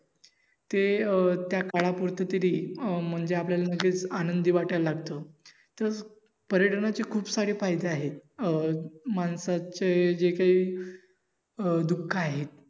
ते अं त्या काळापुरत तरी म्हणजे आपल्याला तसेच आनंदी वाटायला लागत. पर्यटनाचे खुप सारे फायदे आहेत अं माणसाचे जे काही दुःख आहेत.